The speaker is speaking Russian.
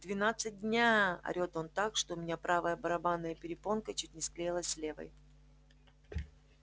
в двенадцать дня орет он так что у меня правая барабанная перепонка чуть ни склеилась с левой